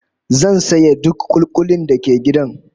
Zan saye duk kuli-kulin da ke gidan